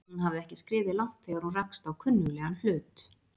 Hún hafði ekki skriðið langt þegar hún rakst á kunnuglegan hlut.